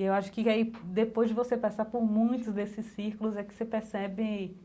E eu acho que aí depois de você passar por muitos desses círculos, é que você percebe